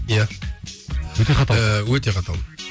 иә өте қатал ыыы өте қаталмын